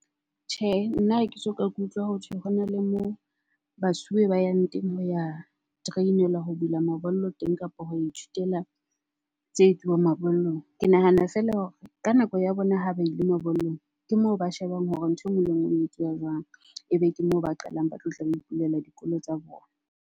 Tjhe, nna ha ke soka ke utlwa hothwe hona le moo basuwe ba yang teng ho ya train-elwa ho bula mabollo teng kapa ho ithutela tse etsuwang mabollong. Ke nahana fela hore ka nako ya bona ha ba ile mabollong, ke moo ba shebang hore ntho e nngwe le e nngwe e etsuwa jwang. Ebe ke moo ba qalang ba tlotla ba ipulela dikolo tsa bona.